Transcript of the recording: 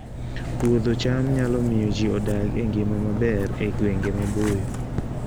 Puodho cham nyalo miyo ji odag e ngima maber e gwenge maboyo